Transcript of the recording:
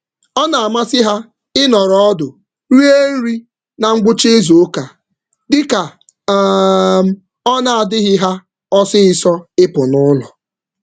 Ha na-enwe mmasị na nri nọdụ ala na ngwụcha izu mgbe ha na-anọghị ngwa ngwa.